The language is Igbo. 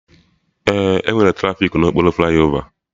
Ee, enwere trafiki na okpuru flaiova